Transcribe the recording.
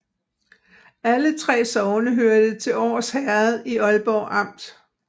Alle 3 sogne hørte til Års Herred i Aalborg Amt